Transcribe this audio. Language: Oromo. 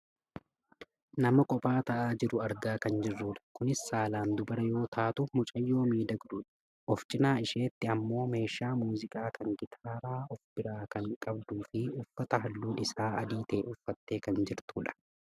Nama kophaa taa'aa jiru argaa kan jirrudha. Kunis saalaan dubara yoo taatu mucayyoo miidhagduudha. Of cinaa isheetti ammoo meeshaa muuziqaa kan gitaara of biraa kan qabduufi uffata halluun isaa adii ta'e uffattee kan jirtudha.